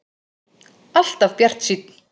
Alltaf bjartsýnn!